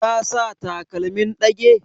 Ta sa takalmin ɗage?